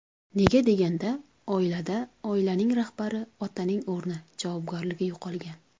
Nega deganda, oilada oilaning rahbari otaning o‘rni, javobgarligi yo‘qolgan.